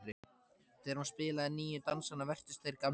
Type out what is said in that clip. Þegar hún spilaði nýju dansana virtust þeir gamlir.